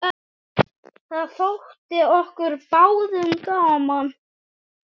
Það þótti okkur báðum gaman.